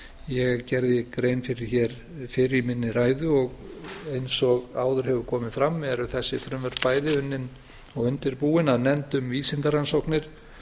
ég gerði grein fyrir hér fyrr í minni ræðu eins og áður hefur komið fram eru þessi frumvörp bæði unnin og undirbúin af nefnd um vísindarannsóknir